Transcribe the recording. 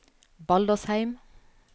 Baldersheim